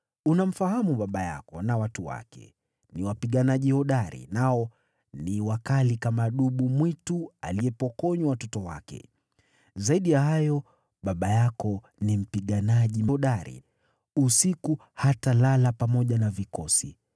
Unamfahamu baba yako na watu wake, ni wapiganaji hodari, nao ni wakali kama dubu mwitu aliyepokonywa watoto wake. Zaidi ya hayo, baba yako ni mpiganaji jasiri, usiku hatalala pamoja na vikosi.